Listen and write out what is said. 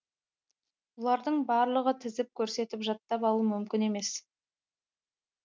бұлардың барлығын тізіп көрсетіп жаттап алу мүмкін емес